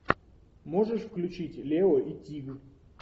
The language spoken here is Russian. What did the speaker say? можешь включить лео и тиг